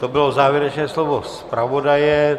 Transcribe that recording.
To bylo závěrečné slovo zpravodaje.